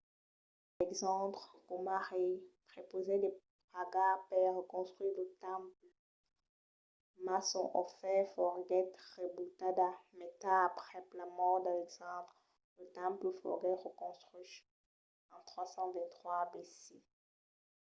alexandre coma rei prepausèt de pagar per reconstruire lo temple mas son ofèrta foguèt rebutada. mai tard aprèp la mòrt d'alexandre lo temple foguèt reconstruch en 323 abc